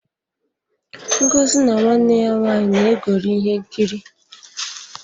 Ngozi na nwanne ya nwaanyị na-egori ihe nkiri.